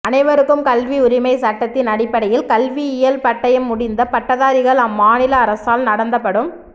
அனைவருக்கும் கல்வி உரிமை சட்டத்தின் அடிப்படையில் கல்வியியல் பட்டயம் முடித்த பட்டதாரிகள் அம்மாநில அரசால் நடந்தபடும்